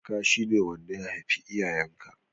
Kaka shi ne wanda ya haifi iyayen ka